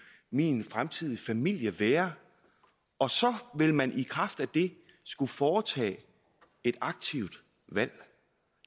min fremtid med min familie være og så vil man i kraft af det skulle foretage et aktivt valg